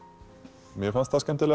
mér fannst skemmtilegast